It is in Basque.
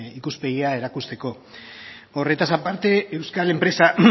ikuspegia erakusteko horretaz aparte euskal enpresa